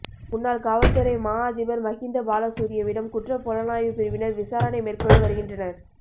முன்னாள் காவல்துறை மா அதிபர் மஹிந்த பாலசூரியவிடம் குற்றப் புலனாய்வு பிரிவினர் விசாரணை மேற்கொண்டு வருகின்றனர்